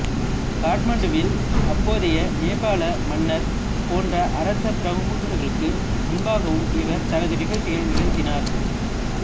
காட்மாண்டுவில் அப்போதைய நேபாள மன்னர் போன்ற அரச பிரமுகர்களுக்கு முன்பாகவும் இவர் தனது நிகழ்ச்சிகளை நிகழ்த்தினார்